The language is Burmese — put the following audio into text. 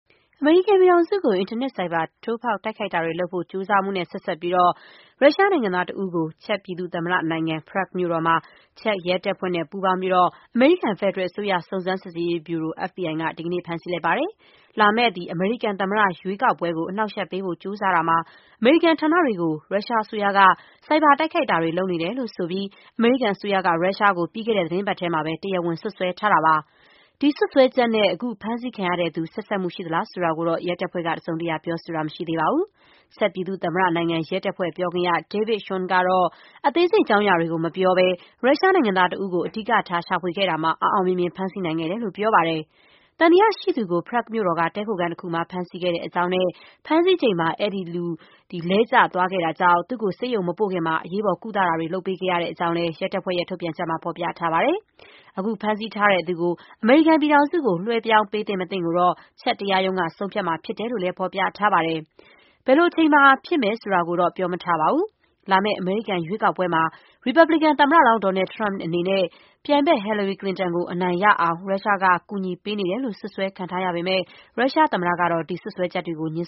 အမေရိကန်ပြည်ထောင်စုကို အင်တာနက် ဆိုက်ဘာ ထိုးဖောက် တိုက်ခိုက်တာတွေလုပ်ဖို့ ကြိုးစားမှုနဲ့ ဆက်စပ်ပြီး ရုရှားနိုင်ငံသားတဦးကို ချက်ပြည်သူ့သမ္မတနိုင်ငံ Prague မြို့တော်မှာ ချက် ရဲတပ်ဖွဲ့နဲ့ ပူးပေါင်းပြီး အမေရိကန် ဖက်ဒရယ်အစိုးရ စုံစမ်းစစ်ဆေးရေးဗျူရို FBI က ဒီကနေ့ ဖမ်းဆီးလိုက်ပါတယ်။ လာမယ့် အမေရိကန် သမ္မတရွေးကောက်ကို အနှောက်အယှက်ပေးဖို့ ကြိုးစားတာမှာ အမေရိကန်ဌာနတွေကို ရုရှားအစိုးရက ဆိုက်ဘာတိုက်ခိုက်တာတွေ လုပ်နေတယ်လို့ဆိုပြီး အမေရိကန်အစိုးရက ရုရှားကို ပြီးခဲ့တဲ့သီတင်းပတ်ထဲမှာပဲ တရားဝင် စွပ်စွဲထားတာပါ။ ဒီစွပ်စွဲချက်နဲ့ အခု ဖမ်းဆီးခံရသူ ဆက်စပ်မှုရှိသလား ဆိုတာကိုတော့ ရဲတပ်ဖွဲ့က တစုံတရာ ပြောဆိုတာ မရှိသေးပါဘူး။ ချက်ပြည်သူ့သမ္မတနိုင်ငံ ရဲတပ်ဖွဲ့ပြောခွင့်ရ David Schon က အသေးစိတ် အကြောင်းအရာတွေကို မပြောဘဲ ရုရှားနိုင်ငံသားတဦးကို အဓိကထား ရှာဖွေခဲ့တာမှာ အောင်အောင်မြင်မြင် ဖမ်းဆီးနိုင်ခဲ့တယ်လို့ ပြောပါတယ်။ သံသရရှိသူကို Prague မြို့တော်က တည်းခိုခန်းတခု မှာ ဖမ်းဆီးခဲ့တဲ့အကြောင်း နဲ့ ဖမ်းဆီးချိန်မှာ အဲဒီလူ လဲကျသွားခဲ့တာကြောင့် သူ့ကို ဆေးရုံ မပို့ခင်မှာ အရေးပေါ် ကုသမှုတာတွေ လုပ်ပေးခဲ့ ရတဲ့အကြောင်း ရဲတပ်ဖွဲ့ရဲ့ ထုတ်ပြန်ချက်မှာ ဖော်ပြထားပါတယ်။ အခု ဖမ်းဆီးထားသူကို အမေရိကန်ပြည်ထောင်စုကို လွှဲပြောင်းပေးသင့် မသင့်ကို ချက် တရားရုံးကဆုံးဖြတ်မှာ ဖြစ်တယ်လို့လည်း ဖော်ပြထားပါတယ်။ ဘယ်လိုအချိန်မှာဖြစ်မယ် ဆိုတာကိုတော့ ပြောမထားပါဘူး။ လာမယ့်အမေရိကန် ရွေးကောက်ပွဲမှာ ရီပါဘလီကန်သမ္မတလောင်း Donald Trump အနေနဲ့ ပြိုင်ဘက် ဟီလာရီကလင်တန်ကို အနိုင်ရအောင် ရုရှားက ကူညီပေးနေတယ်လို့ စွပ်စွဲခံထားရပေမဲ့ ရုရှားသမ္မတကတော့ ဒီစွပ်စွဲချက်တွေကို ငြင်း